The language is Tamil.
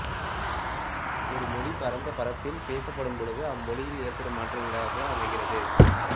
ஒரு மொழி பரந்த பரப்பில் பேசப்படும்பொழுது அம்மொழியில் ஏற்படும் மாற்றங்களாக இது அமைகிறது